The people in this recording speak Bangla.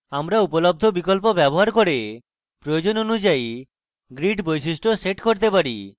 আমরা উপলব্ধ বিকল্প ব্যবহার করে আমাদের প্রয়োজন অনুযায়ী grid বৈশিষ্ট্য set করতে পারি